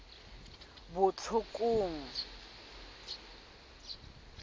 botlhokong